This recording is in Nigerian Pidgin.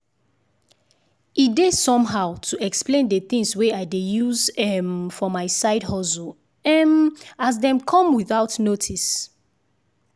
e dey somehow to explain the things wey i dey use um for my side hustle um as dem come without notice